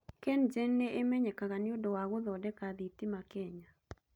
KenGen nĩ ĩmenyekaga nĩ ũndũ wa gũthondeka thitima Kenya.